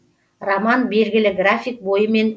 роман белгілі график бойымен